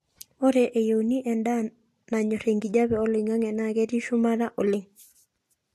ore eyeuni e ndaa nanyor enkijape oloingangi naa ketii shumata oleng